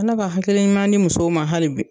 Ala ka hakili ɲuman di musow ma hali bi